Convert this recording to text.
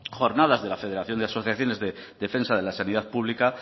jornadas de la federación de asociaciones de defensa de la sanidad pública